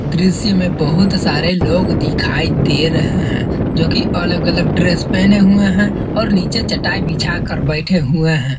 दृश्य में बहुत सारे लोग दिखाई दे रहे हैं जोकि अलग-अलग ड्रेस पहने हुए हैं और नीचे चटाई बिछाकर बैठे हुए हैं।